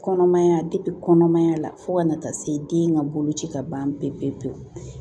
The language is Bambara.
Kɔnɔmaya kɔnɔmaya la fo ka na taa se den ka boloci ka ban pewu pewu pewu